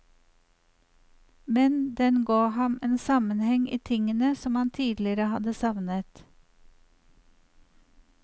Men den ga ham en sammenheng i tingene som han tidligere hadde savnet.